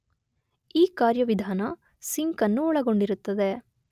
ಈ ಕಾರ್ಯವಿಧಾನ ಸಿಂಕ್ ಅನ್ನು ಒಳಗೊಂಡಿರುತ್ತದೆ